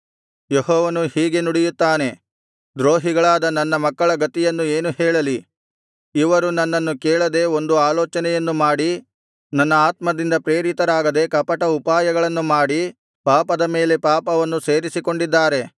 ಯೆಹೋವನು ಹೀಗೆ ನುಡಿಯುತ್ತಾನೆ ದ್ರೋಹಿಗಳಾದ ನನ್ನ ಮಕ್ಕಳ ಗತಿಯನ್ನು ಏನು ಹೇಳಲಿ ಇವರು ನನ್ನನ್ನು ಕೇಳದೆ ಒಂದು ಆಲೋಚನೆಯನ್ನು ಮಾಡಿ ನನ್ನ ಆತ್ಮದಿಂದ ಪ್ರೇರಿತರಾಗದೆ ಕಪಟ ಉಪಾಯಗಳನ್ನು ಮಾಡಿ ಪಾಪದ ಮೇಲೆ ಪಾಪವನ್ನು ಸೇರಿಸಿಕೊಂಡಿದ್ದಾರೆ